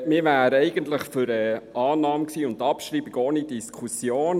Wir waren eigentlich für die Annahme und die Abschreibung ohne Diskussion.